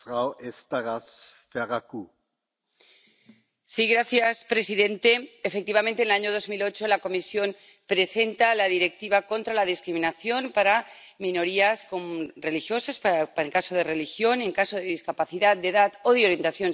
Señor presidente, efectivamente, en el año 2008, la Comisión presenta la Directiva contra la discriminación para minorías religiosas —para el caso de la religión— y en caso de discapacidad, de edad o de orientación sexual.